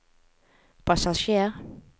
passasjer